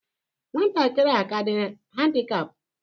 Nwatakịrị a aka dị handikap?